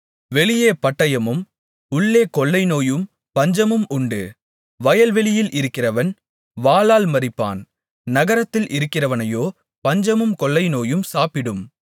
வெளியே பட்டயமும் உள்ளே கொள்ளைநோயும் பஞ்சமும் உண்டு வயல்வெளியில் இருக்கிறவன் வாளால் மரிப்பான் நகரத்தில் இருக்கிறவனையோ பஞ்சமும் கொள்ளைநோயும் சாப்பிடும்